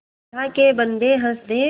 अल्लाह के बन्दे हंस दे